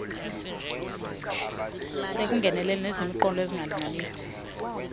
sekungenelela nezinemiqolo engalinganiyo